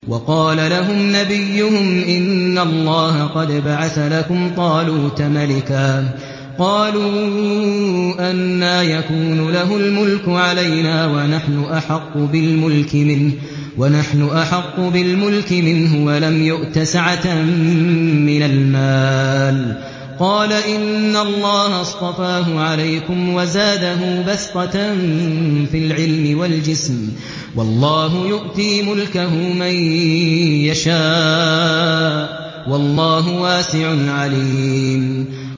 وَقَالَ لَهُمْ نَبِيُّهُمْ إِنَّ اللَّهَ قَدْ بَعَثَ لَكُمْ طَالُوتَ مَلِكًا ۚ قَالُوا أَنَّىٰ يَكُونُ لَهُ الْمُلْكُ عَلَيْنَا وَنَحْنُ أَحَقُّ بِالْمُلْكِ مِنْهُ وَلَمْ يُؤْتَ سَعَةً مِّنَ الْمَالِ ۚ قَالَ إِنَّ اللَّهَ اصْطَفَاهُ عَلَيْكُمْ وَزَادَهُ بَسْطَةً فِي الْعِلْمِ وَالْجِسْمِ ۖ وَاللَّهُ يُؤْتِي مُلْكَهُ مَن يَشَاءُ ۚ وَاللَّهُ وَاسِعٌ عَلِيمٌ